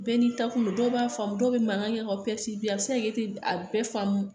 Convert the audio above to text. Bɛɛ n'i taa kun do, dɔw b'a faamu dɔw bɛ mankan kɛ k'aw a bɛ se ka kɛ, e tɛ a bɛɛ faamu.